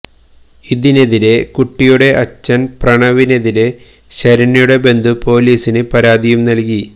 ഇതിനെതിരെ കുട്ടിയുടെ അച്ഛന് പ്രണവിനെതിരെ ശരണ്യയുടെ ബന്ധു പൊലീസില് പരാതിയും നല്കി